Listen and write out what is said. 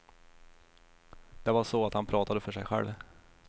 Det var så att han pratade för sig själv.